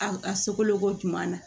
A a sogo ɲuman na